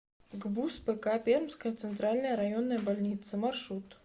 гбуз пк пермская центральная районная больница маршрут